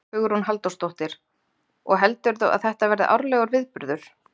Hugrún Halldórsdóttir: Og heldurðu að þetta verði árlegur viðburður?